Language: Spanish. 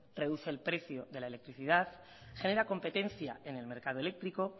reduce el precio de la electricidad genera competencia en el mercado eléctrico